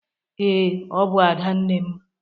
Ee, ọ bụ Adanne m.